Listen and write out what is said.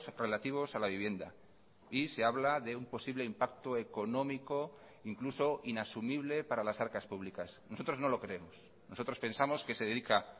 relativos a la vivienda y se habla de un posible impacto económico incluso inasumible para las arcas públicas nosotros no lo creemos nosotros pensamos que se dedica